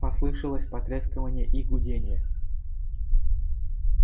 послышалось потрескивание и гудение